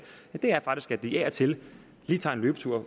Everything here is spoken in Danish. er faktisk at de af og til lige tager en løbetur